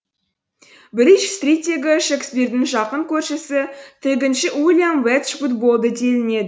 бридж стриттегі шекспирдің жақын көршісі тігінші уильям веджвуд болды делінеді